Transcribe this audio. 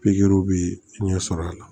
Pikiriw bɛ ɲɛ sɔrɔ a la